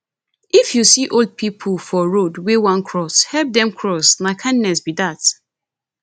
if you see old pipo for road wey won cross help them cross na kindness be that